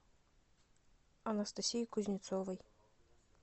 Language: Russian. анастасии кузнецовой